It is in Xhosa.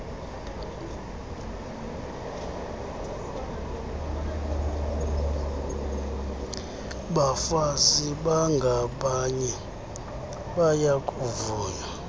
bafazi bangabanye bayakuvunywa